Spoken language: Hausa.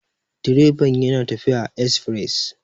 direban yana tafiya a esfires